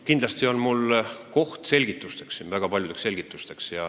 Kindlasti on siin koht minu väga paljudeks selgitusteks.